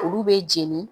Olu bɛ jɛni